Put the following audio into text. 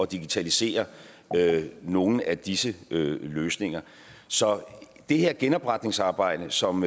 digitalisere nogle af disse løsninger så det her genopretningsarbejde som